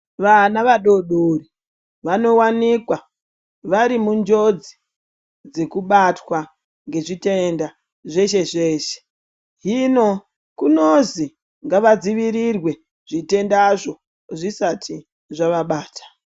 Vana vadodori vanowanikwa vari munjodzi dzekubatwa ngezvitenda zveshe-zveshe. Hino kunozi ngavadzivirirwe, zvitendazvo zvisati zvavabata.